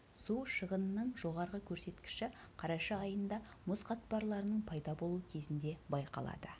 су шығынының жоғарғы көрсеткіші қараша айында мұз қатпарларының пайда болу кезінде байқалады